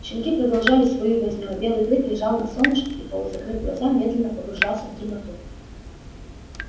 щенки продолжали свою возню а белый клык лежал на солнышке и полузакрыв глаза медленно погружался в дремоту